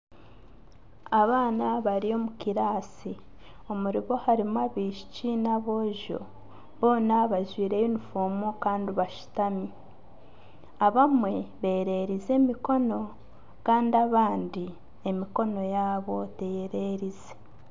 Abaana bari omu kiraasi omuribo harimu abaishiki n’aboojo boona bajwaire yunifoomu kandi bashutami abamwe bererize emikono kandi abandi emikono yaabo teyererize.